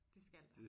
Det skal der